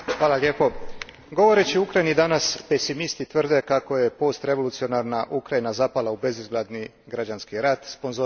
Govoreći o Ukrajini danas, pesimisti tvrde kako je postrevolucionarna Ukrajina zapala u bezizlazni građanski rat, sponzoriran iz Rusije.